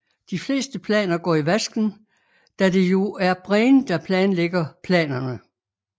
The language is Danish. De fleste planer går i vasken da det jo er Brain der planlægger planerne